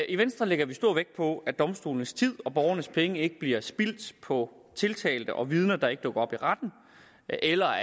i venstre lægger vi stor vægt på at domstolenes tid og borgernes penge ikke bliver spildt på tiltalte og vidner der ikke dukker op i retten eller